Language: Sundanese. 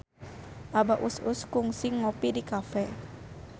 Abah Us Us kungsi ngopi di cafe